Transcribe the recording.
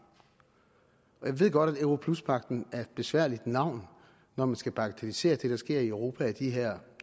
jeg ved godt at europluspagten er et besværligt navn når man skal bagatellisere det der sker i europa i de her